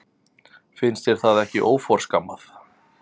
Finnst þér það ekki óforskammað?